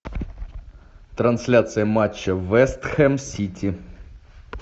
трансляция матча вест хэм сити